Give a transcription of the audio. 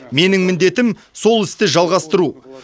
менің міндетім сол істі жалғастыру